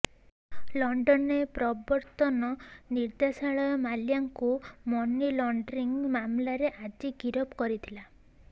ଲଣ୍ଡନରେ ପ୍ରବର୍ତନ ନିର୍ଦ୍ଦେଶାଳୟ ମାଲ୍ୟାଙ୍କୁ ମନି ଲଣ୍ଡରିଙ୍ଗ୍ ମାମଲାରେ ଆଜି ଗିରଫ କରିଥିଲା